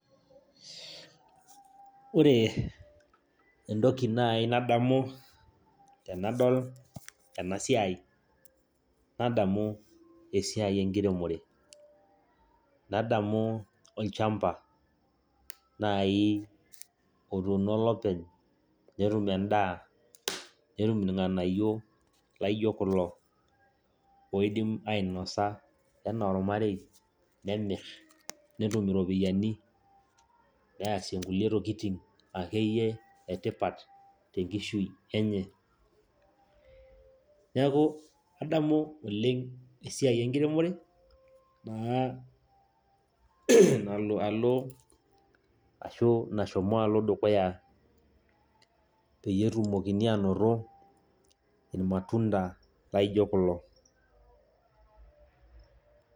Ore entoki naai nadamu tenadol ena siai nadamu esiai enkiremore, nadamu olchamba naai otuuno olopeny netum endaa, netum irng'anayio laa aijio kulo oidim ainosa enaa ormarei nemirr netum iropiyiani nees nkulie tokiitin akeyie etipat tenkishui enye, neeku adamu oleng' esiai enkiremore amu nalo alo ashu nashomo alo dukuya peyie etumokini aanoto irmatunda lijio kulo.